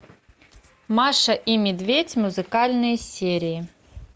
маша и медведь музыкальные серии